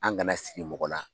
An kana siri mɔgɔ na